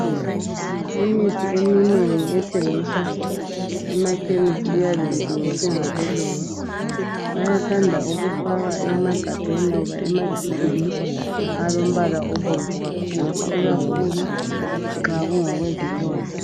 Imithi eminengi ethengiswa emakhemisi iyabe ilungiswe ngabelungu abathanda ukufaka emagabheni loba ematshubhini alombala obomvu kakhulu . Ikakhulu nxa kungokwe zilonda.